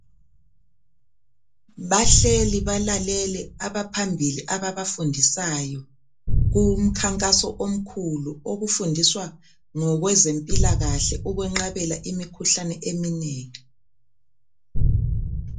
Bahleli balalele, abaphambili, ababafundisayo. Kumkhankaso omkhulu. Okufundiswa ngokwezempilakahle. Ukwenqabela imikhuhlane eminengi.